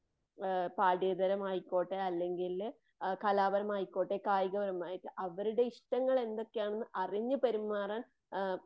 ആ പാഠ്യതാരമായിക്കോട്ടെ അല്ലങ്കില് കലാപരമായിക്കോട്ടെ, കായികപരമായികോട്ടെ അവരുടെ ഇഷ്ടങ്ങൾ എന്തൊക്കെയാണെന്ന് അറിഞ്ഞു പെരുമാറാൻ ആ